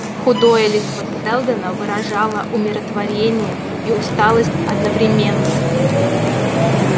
худое лицо сэлдона выражало умиротворение и усталость одновременно